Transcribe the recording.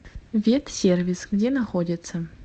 ветсервис где находится